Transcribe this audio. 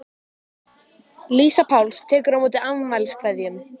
Lísa Páls tekur á móti afmæliskveðjum.